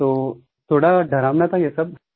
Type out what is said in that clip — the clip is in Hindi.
तो थोड़ा डरावना था ये सब